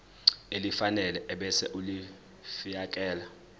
elifanele ebese ulifiakela